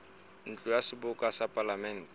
ntlo ya seboka ya palamente